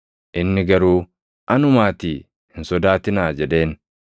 Inni garuu, “Anumaatii hin sodaatinaa” jedheen.